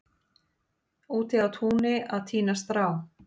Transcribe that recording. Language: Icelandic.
úti á túni að tína strá